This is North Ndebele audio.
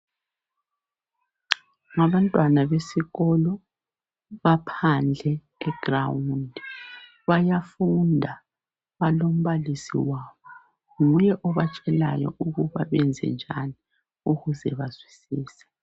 Ngabantwana besikolo, baphandle eground. Bayafunda, balombalisi wabo, nguye obatshelayo ukuba benzenjani ukuze bazwisise.